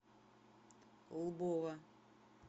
лбова